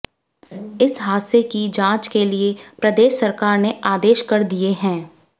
इस हादसे की जांच के लिए प्रदेश सरकार ने आदेश कर दिए हैं